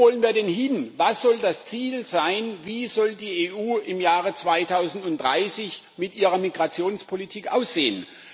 Wo wollen wir denn hin, was soll das Ziel sein, wie soll die EU im Jahre 2030 mit ihrer Migrationspolitik aussehen?